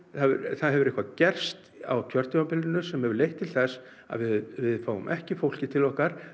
það hefur eitthvað gerst á kjörtímabilinu sem hefur leitt til þess að við fáum ekki fólkið til okkar